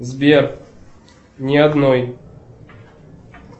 сбер ни одной